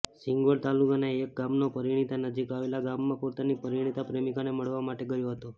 સીંગવડ તાલુકાના એક ગામનો પરીણિતા નજીક આવેલા ગામમાં પોતાની પરીણિતા પ્રેમિકાને મળવા માટે ગયો હતો